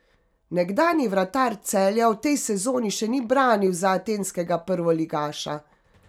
Nekdanji vratar Celja v tej sezoni še ni branil za atenskega prvoligaša.